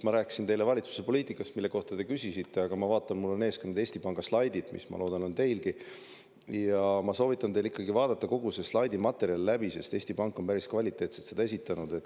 Ma rääkisin teile valitsuse poliitikast, mille kohta te küsisite, aga ma vaatan, et mul on ees ka need Eesti Panga slaidid, mis, ma loodan, on teilgi, ja ma soovitan teil ikkagi vaadata kogu see slaidimaterjal läbi, sest Eesti Pank on päris kvaliteetselt seda esitanud.